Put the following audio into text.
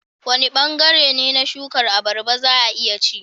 Wane bangare ne na shukar abarba za a iya ci?